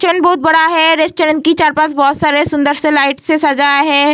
Kitchen बहुत बड़ा है | रेस्टोरेंट की चार पांच बहुत सारे सूंदर से लाइट से सजा है।